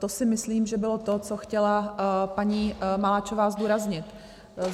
To si myslím, že bylo to, co chtěla paní Maláčová zdůraznit.